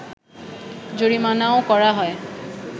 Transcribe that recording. জরিমানাও করা হয়